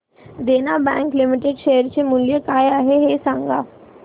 देना bank limited share चे मूल्य काय आहे हे सांगा